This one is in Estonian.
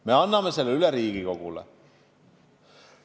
Me anname eelarve üle Riigikogule.